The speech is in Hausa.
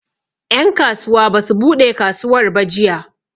En kasuwa basu buɗe kasuwar ba jiya